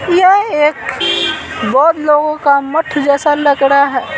यह एक बहुत लोगों का मठ जैसा लग रहा है।